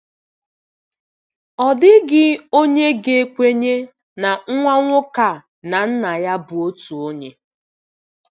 Ọ dịghị onye ga-ekwenye na nwa nwoke a na nna ya bụ otu onye.